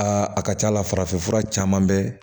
Aa a ka ca la farafinfura caman bɛ